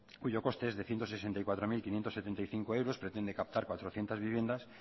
cuyo coste es de ciento sesenta y cuatro mil quinientos setenta y cinco euros y que pretende captar cuatrocientos viviendas